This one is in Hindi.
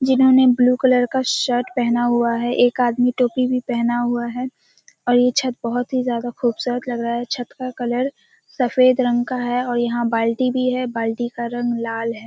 जिन्होंने ब्लू कलर का शर्ट पहना हुआ है। एक आदमी टोपी भी पहना हुआ है और ये छत बहुत जी ज्यादा खूबसूरत लग रहा है। छत का कलर सफ़ेद रंग का है और यहाँ बाल्टी भी है बाल्टी का रंग लाल है।